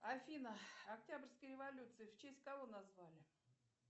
афина октябрьская революция в честь кого назвали